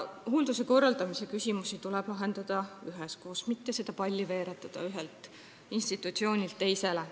Hoolduse korraldamise küsimused tuleb lahendada üheskoos, ei tule veeretada seda palli ühelt institutsioonilt teisele.